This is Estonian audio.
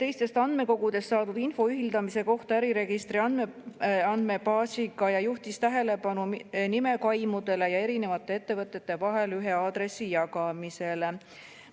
teistest andmekogudest saadud info ühildamise kohta äriregistri andmebaasiga ja juhtis tähelepanu nimekaimudele ja erinevate ettevõtete vahel ühe aadressi jagamisele.